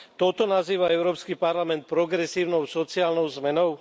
Toto nazýva Európsky parlament progresívnou sociálnou zmenou?